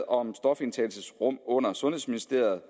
om stofindtagelsesrum under ministeriet